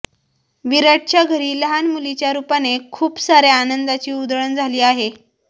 विराटच्या घरी लहान मुलीच्या रूपाने खूप साऱ्या आनंदाची उधळण झाली आहे